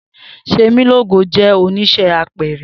Semilogo jẹ onise apẹẹrẹ.